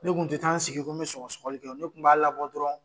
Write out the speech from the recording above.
Ne kun ti taa n sigi, ko n bɛ sɔgɔ sɔgɔli kɛ ne tun b'a labɔ dɔrɔn